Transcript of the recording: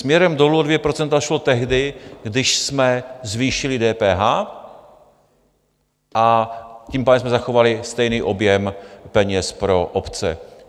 Směrem dolů o dvě procenta šlo tehdy, když jsme zvýšili DPH, a tím pádem jsme zachovali stejný objem peněz pro obce.